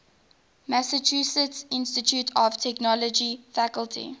massachusetts institute of technology faculty